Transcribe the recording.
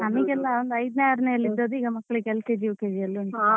ನಮ್ಗೆಲ್ಲಾ ಐದನೇ ಆರನೇಯಲ್ಲಿ ಇದ್ದದ್ದು ಈಗ ಮಕ್ಕಳಿಗೆ LKG UKG ಯಲ್ಲಿ ಉಂಟು.